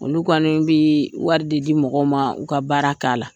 Olu kɔni bi wari de di mɔgɔw ma u ka baara